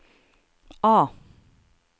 A